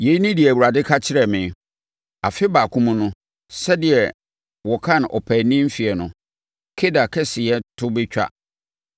Yei ne deɛ Awurade ka kyerɛ me, “Afe baako mu no, sɛdeɛ wɔkan ɔpaani mfeɛ no, Kedar kɛseyɛ to bɛtwa.